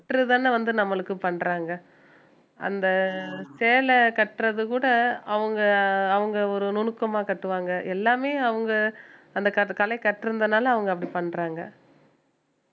திட்டறதுதானே வந்து நம்மளுக்கு பண்றாங்க அந்த சேல கட்டுறது கூட அவுங்க அவுங்க ஒரு நுணுக்கமா கட்டுவாங்க எல்லாமே அவுங்க அந்த கட~ கலை கற்றந்துனால அவங்க அப்படி பண்றாங்க